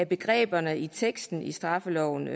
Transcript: begreberne i teksten i straffelovens